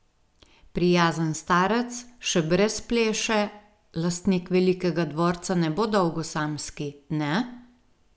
Prijazen starec, še brez pleše, lastnik velikega dvorca ne bo dolgo samski, ne?